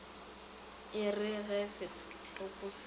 e re ge setopo se